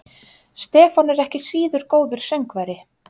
Stefán er ekki síður góður söngvari.